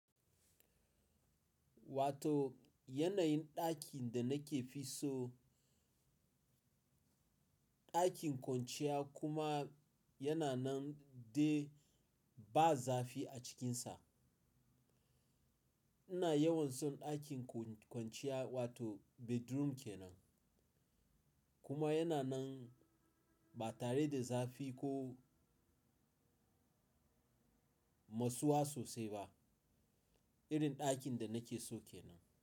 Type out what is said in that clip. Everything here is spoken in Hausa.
Wato yanayin ɗakin da nake fi so ɗakin kwanciya kuma yana nan dai ba zafi a cikinsa. Ina yawan son ɗakin kwanciya wato bedroom kenan. Kuma yana nan ba tare da zafi ko masuwa sosai ba. Irin ɗakin da nake so kenan.